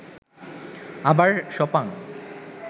আবার সপাং